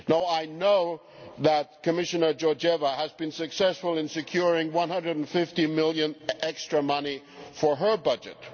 I know that Commissioner Georgieva has been successful in securing EUR150million in extra money for her budget.